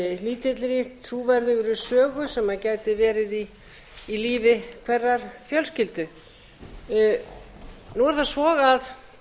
lítilli trúverðugri sögu sem gæti verið í lífi hverrar fjölskyldu nú er það á